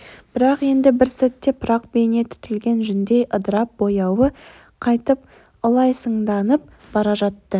бірақ енді бір сәтте пырақ бейне түтілген жүндей ыдырап бояуы қайтып ылайсаңданып бара жатты